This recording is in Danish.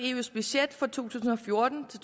eus budget for to tusind og fjorten til